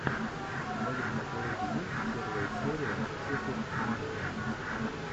в твоем каталоге есть первая серия супер маргина